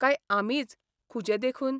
काय आमीच खुजे देखून?